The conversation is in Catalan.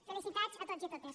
felicitats a tots i a totes